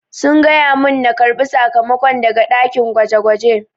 Sun gaya mun na karbi sakamako daga dakin gwaje-gwaje.